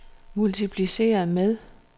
multipliceret med